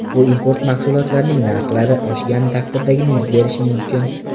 Bu import mahsulotlarining narxlari oshgan taqdirdagina yuz berishi mumkin.